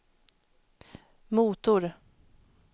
motor